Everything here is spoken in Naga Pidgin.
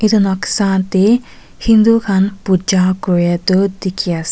itu noksa deh hindu khan puja kuria tu dikhi as--